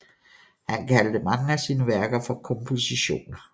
Han kaldte mange af sine værker for kompositioner